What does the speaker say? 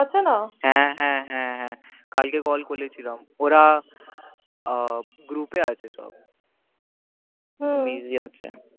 আছে না হ্য়াঁ হ্য়াঁ হ্য়াঁ কাল কে call করে ছিলাম ওরা group এ আছে সব হম busy আছে